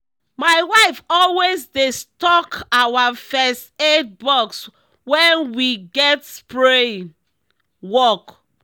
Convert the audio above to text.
my wife always dey stock our first aid box when we get spraying work.